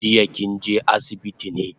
Jiya kinje asibiti ne?